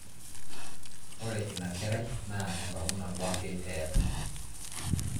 Ore inakerai naa enkong'u nabo ake eeta